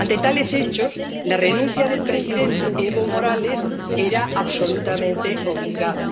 Ante tales hechos, la renuncia del presidente Evo Morales era absolutamente obligada.